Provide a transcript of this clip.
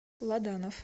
ладанов